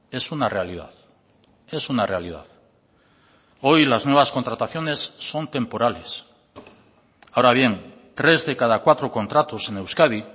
es una realidad es una realidad hoy las nuevas contrataciones son temporales ahora bien tres de cada cuatro contratos en euskadi